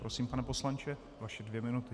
Prosím, pane poslanče, vaše dvě minuty.